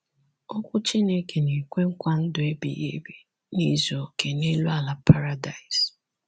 Okwu Chineke na-ekwe nkwa ndụ ebighị ebi n’izu okè n’elu ala paradaịs.